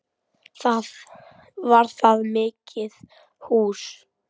Var það mikið hús.